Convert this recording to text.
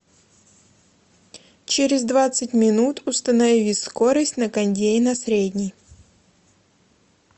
через двадцать минут установи скорость на кондее на средний